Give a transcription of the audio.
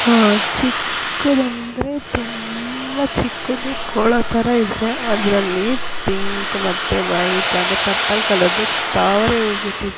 ಆ ಚಿಕ್ಕುದಂದ್ರೆ ತುಂಬಾ ಚಿಕ್ಕದು ಕೊಳ ತರ ಇದೆ ಅದ್ರಲ್ಲಿ ಪಿಂಕು ಮತ್ತು ವೈಟಾ ಗಿ ಪರ್ಪಲ್ ಕಲರ್ ದು ತಾವರೆ ಹೂವು ಬಿಟ್ಟಿದೆ.